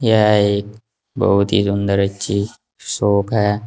यह एक बहुत ही सुंदर अच्छी शाप है।